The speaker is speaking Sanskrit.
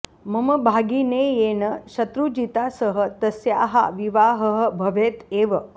मम भागिनेयेन शत्रुजिता सह तस्याः विवाहः भवेत् एव